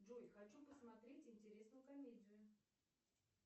джой хочу посмотреть интересную комедию